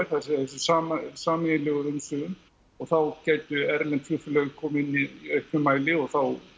segja þessum sameiginlegu umsvifum og þá gætu erlend flugfélög komið inn í auknum mæli og þá